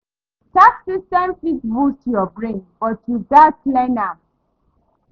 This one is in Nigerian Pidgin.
Tax systems fit burst yur brain, but you gats learn am